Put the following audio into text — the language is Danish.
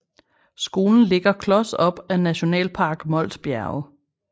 Skolen ligger klos op ad Nationalpark Mols Bjerge